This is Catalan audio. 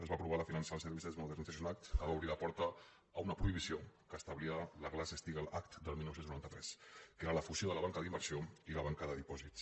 es va aprovar la financial services modernization act que va obrir la porta a una prohibició que establia la glass·steagall act del dinou noranta tres que era la fusió de la banca d’inversió i la banca de dipòsits